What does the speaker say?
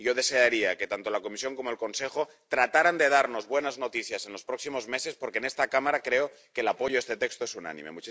Yo desearía que tanto la Comisión como el Consejo trataran de darnos buenas noticias en los próximos meses, porque en esta Cámara creo que el apoyo a este texto es unánime.